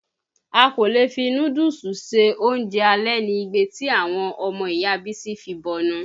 A kò lè fi núdúùsù ṣe oúnjẹ alẹ̀ ni igbe ti àwọn ọmọ Ìya Bísí fi bọnu.